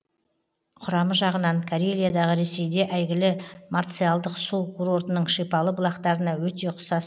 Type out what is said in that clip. құрамы жағынан карелиядағы ресейде әйгілі марциалдық су курортының шипалы бұлақтарына өте ұқсас